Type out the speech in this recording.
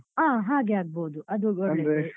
ಹಾ ಹಾಗೆ ಆಗ್ಬೋದು ಅದು ಒಳ್ಳೆದು.